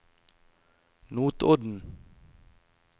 Notodden